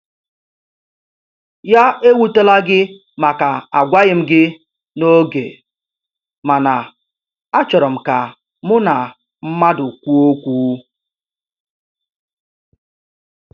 Ya ewutela gị màkà agwaghị m gị n'oge, mana a chọrọ m ka mụ na mmadụ kwụọ ókwú.